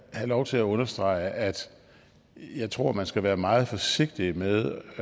have lov til at understrege at jeg tror man skal være meget forsigtig med